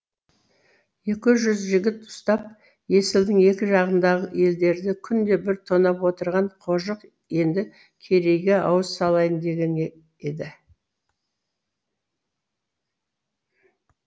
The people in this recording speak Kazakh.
екі жүз жігіт ұстап есілдің екі жағындағы елдерді күнде бір тонап отырған қожық енді керейге ауыз салайын дегені де